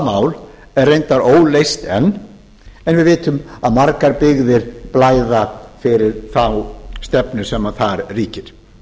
mál er reyndar óleyst enn en við vitum að margar byggðir blæða fyrir þá stefnu sem þar ríkir